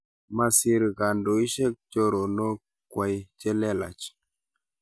Masir kandoishek choronok kwai chelelach